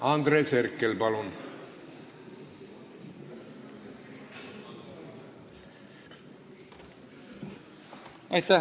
Andres Herkel, palun!